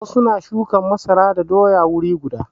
Wasu na shuka masara da doya wuri guda.